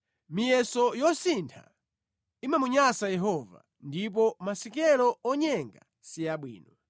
Miyeso yosintha imamunyansa Yehova; ndipo masikelo onyenga si abwino.